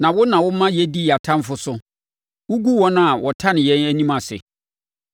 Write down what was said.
na wo na woma yɛdi yɛn atamfoɔ so. Wogu wɔn a wɔtane yɛn anim ase.